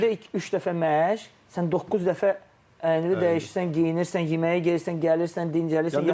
Gündə üç dəfə məşq, sən doqquz dəfə əynivi dəyişirsən, geyinirsən, yeməyə gedirsən, gəlirsən, dincəlirsən.